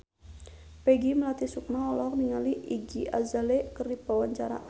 Peggy Melati Sukma olohok ningali Iggy Azalea keur diwawancara